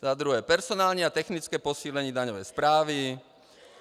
Za druhé, personální a technické posílení daňové správy.